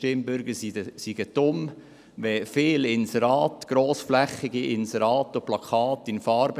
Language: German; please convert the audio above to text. Sie müssen nicht das Gefühl haben, die Stimmbürgerinnen und Stimmbürger seien dumm.